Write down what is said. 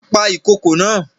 Pa ìkokò naa!